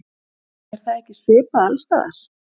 Er það ekki svipað alls staðar?